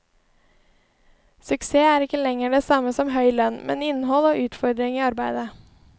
Suksess er ikke lenger det samme som høy lønn, men innhold og utfordringer i arbeidet.